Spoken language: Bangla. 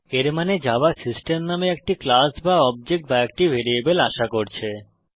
এর মানে জাভা সিস্টেম নামে একটি ক্লাস বা অবজেক্ট বা একটি ভ্যারিয়েবল আশা করছে